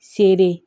Sere